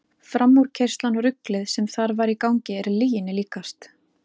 Framúrkeyrslan og ruglið sem þar var í gangi er lyginni líkast.